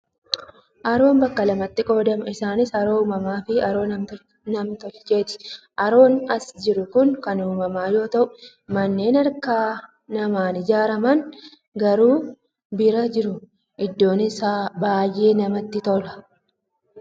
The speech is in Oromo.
Haroon bakka lamatti qoodama. Isaanis: haroo uumamaa fi haroo nam-tolcheeti. Haroon as jiru kun kan uumama yoo ta'u, manneen harka namaan ijaaraman garuu bira jiru. Iddoon isaa baay'ee namatti tola!